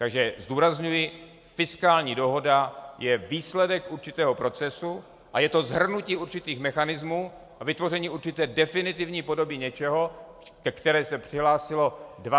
Takže zdůrazňuji, fiskální dohoda je výsledek určitého procesu, a je to shrnutí určitých mechanismů a vytvoření určité definitivní podoby něčeho, ke které se přihlásilo 25 zemí.